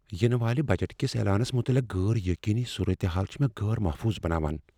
ینہٕ والہِ بجٹ کس اعلانس مطلق غٲر یقینی صورتحال چھ مےٚ غٲر محفوظ بناوان۔